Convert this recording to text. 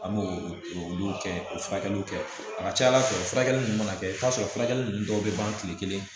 An b'o olu kɛ k'o furakɛliw kɛ a ka ca ala fɛ furakɛli ninnu mana kɛ i bɛ t'a sɔrɔ furakɛli ninnu dɔw bɛ ban tile kelen